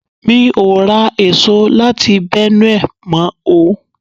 Mi ò ra èso láti Benue mọ̀ ọ.